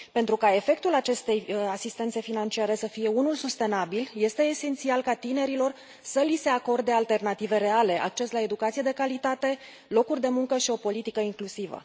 Pentru ca efectul acestei asistențe financiare să fie unul sustenabil, este esențial ca tinerilor să li se acorde alternative reale, acces la educație de calitate, locuri de muncă și o politică inclusivă.